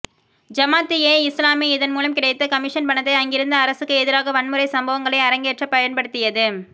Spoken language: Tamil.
ஜமாத் ஏ இஸ்லாமி இதன் மூலம் கிடைத்த கமிஷன் பணத்தை அங்கிருந்த அரசுக்கு எதிராக வன்முறைச் சம்பவங்களை அரங்கேற்றப் பயன்படுத்தியது